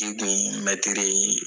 N tun ye mɛtiri ye!